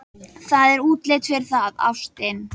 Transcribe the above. Það er útlit fyrir það, ástin.